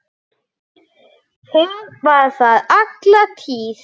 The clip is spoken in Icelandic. Það var þar alla tíð.